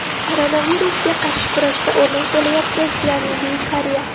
Koronavirusga qarshi kurashda o‘rnak bo‘layotgan Janubiy Koreya.